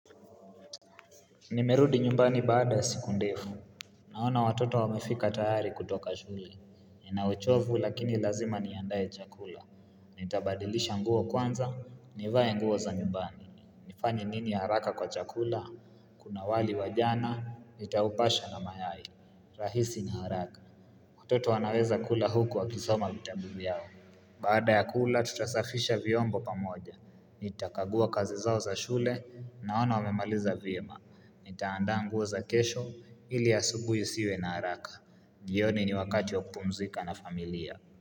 Nimerudi nyumbani baada ya siku ndefu, naona watoto wamefika tayari kutoka shule, nina uchovu lakini lazima niandaye chakula, nitabadilisha nguo kwanza, nivae nguo za nyumbani, nifanye nini haraka kwa chakula, kuna wali wa jana, nitaupasha na mayai, rahisi ni haraka, watoto wanaweza kula huku wakisoma vitabu vyao. Baada ya kula, tutasafisha vyombo pamoja. Nitakagua kazi zao za shule, naona wamemaliza vyema. Nitaandaa nguo za kesho, ili asubuhi isiwe na haraka. Jioni ni wakati wa kupumzika na familia.